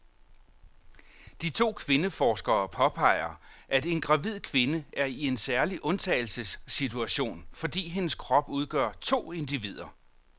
De to kvindeforskere påpeger, at en gravid kvinde er i en særlig undtagelsessituation, fordi hendes krop udgør to individer.